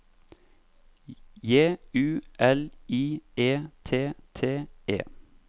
J U L I E T T E